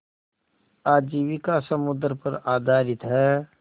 आजीविका समुद्र पर आधारित है